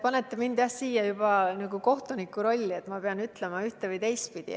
Panete mind siin juba kohtuniku rolli, et ma pean ütlema ühte- või teistpidi.